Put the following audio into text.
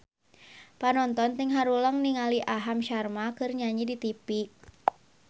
Panonton ting haruleng ningali Aham Sharma keur nyanyi di tipi